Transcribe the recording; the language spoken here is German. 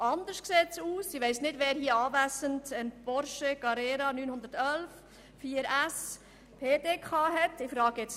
Anders sieht es bei einem Porsche 911, Carrera, 4S, PDK, Neupreis ab 146 880 Franken aus.